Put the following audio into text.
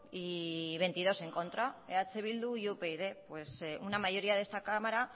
y veintidós en contra eh bildu y upyd pues una mayoría de esta cámara